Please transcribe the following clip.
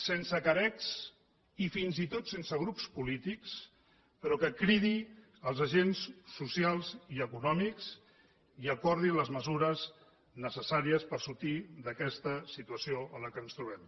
sense carec i fins i tot sense grups polítics però cridi els agents socials i econòmics i acordi les mesures necessàries per sortir d’aquesta situació en la qual ens trobem